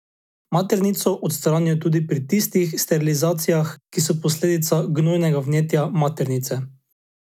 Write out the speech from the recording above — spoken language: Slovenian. Maternico odstranijo tudi pri tistih sterilizacijah, ki so posledica gnojnega vnetja maternice.